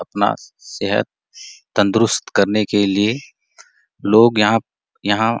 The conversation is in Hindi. अपना सेहद तंदरुस्त करने के लिए लोग यहाँ - यहाँ --